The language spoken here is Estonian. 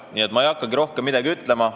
Nii et ma ei hakkagi rohkem midagi ütlema.